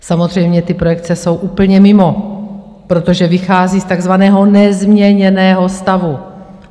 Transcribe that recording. Samozřejmě, ty projekce jsou úplně mimo, protože vychází z takzvaného nezměněného stavu.